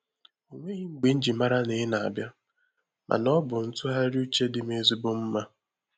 O nweghị mgbe nji mara na ina abịa, mana ọ bụ ntụgharị uche dị m ezigbo mma.